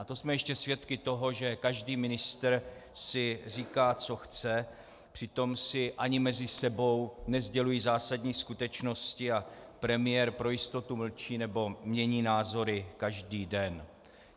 A to jsme ještě svědky toho, že každý ministr si říká, co chce, přitom si ani mezi sebou nesdělují zásadní skutečnosti a premiér pro jistotu mlčí nebo mění názory každý den.